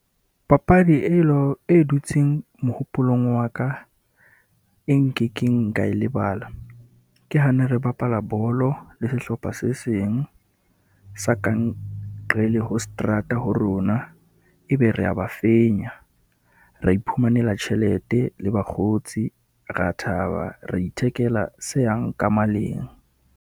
Papadi e , e dutseng mohopolong wa ka, e nkekeng ka e lebala. Ke ha ne re bapala bolo le sehlopha se seng sa ka nqela ho seterata ho rona, e be re ya ba fenya, ra iphumanela tjhelete le bakgotsi, ra thaba, ra ithekela se yang ka maleng.